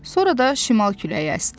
Sonra da şimal küləyi əsdi.